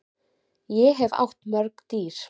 Ég hef átt mörg dýr.